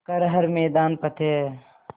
कर हर मैदान फ़तेह